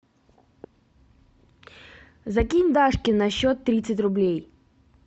закинь дашке на счет тридцать рублей